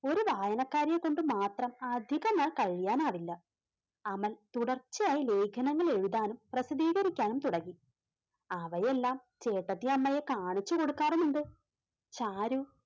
ഒരു വായനക്കാരിയെ കൊണ്ട് മാത്രം അധികനാൾ കഴിയാനാവില്ല. അവൻ തുടർച്ചയായി ലേഖനങ്ങൾ എഴുതാനും പ്രസിദ്ധീകരിക്കാനും തുടങ്ങി അവയെല്ലാം ചേട്ടത്തിയമ്മയെ കാണിച്ചു കൊടുക്കാറുമുണ്ട്. ചാരു